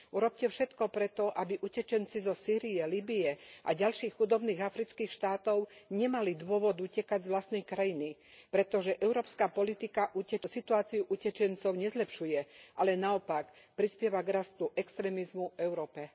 Urobte všetko preto, aby utečenci zo Sýrie, Líbye a ďalších chudobných afrických štátov nemali dôvod utekať z vlastnej krajiny, pretože európska politika situáciu utečencov nezlepšuje, ale naopak, prispieva k rastu extrémizmu v Európe.